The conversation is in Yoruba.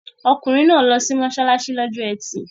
Ọkùnrin náà lọ sí mọ́ṣáláṣí lọ́jọ́ Ẹtì.